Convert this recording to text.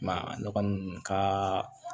Ma a nɔgɔn kaa